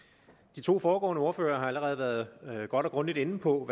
de to foregående ordførere har allerede været godt og grundigt inde på